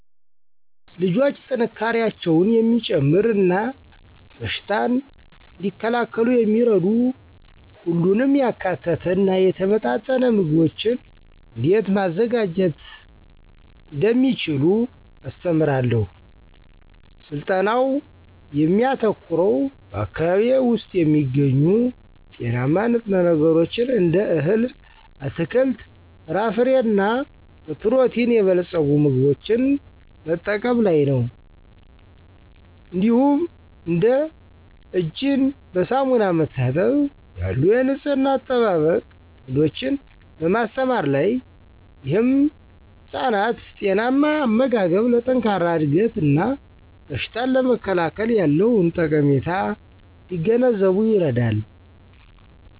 ልጆች ጥንካሬያቸውን የሚጨምር እና በሽታን እንዲከላከሉ የሚረዱ ሁሉንም ያካተተ እና የተመጣጠነ ምግቦችን እንዴት ማዘጋጀት እንደሚችሉ አስተምራለሁ። ስልጠናው የሚያተኩረው በአካባቢዬ ውስጥ የሚገኙ ጤናማ ንጥረ ነገሮችን እንደ እህል፣ አትክልት፣ ፍራፍሬ እና በፕሮቲን የበለጸጉ ምግቦችን መጠቀም ላይ ነው። እንዲሁም እንደ እጅን በሳሙና መታጠብ ያሉ የንፅህና አጠባበቅ ልምዶችን በማስተማር ላይ። ይህም ህፃናት ጤናማ አመጋገብ ለጠንካራ እድገት እና በሽታን ለመከላከል ያለውን ጠቀሜታ እንዲገነዘቡ ይረዳል።